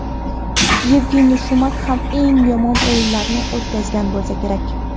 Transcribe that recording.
Yevgeniy Chumak ham eng yomon o‘yinlarini o‘tkazgan bo‘lsa kerak.